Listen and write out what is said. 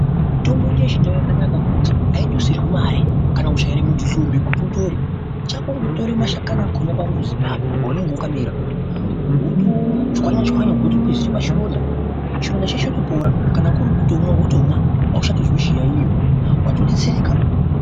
Mitombo yedu yechindau yakanaka ngekuti aidusirwi mare kana kuchaire munthu hlombe kuti utore chako kungotora mashakani akhona pamuzi ipapo paunenge wakamera wotochwanya chwanya wotokwizira pachironda chironda chotopora kana kuri kutomwa wotomwa auchatozwi chiyaeyo watodetsereka.